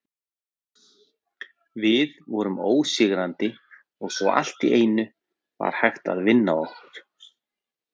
Við vorum ósigrandi og svo allt í einu var hægt að vinna okkur.